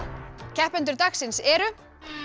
keppendur dagsins eru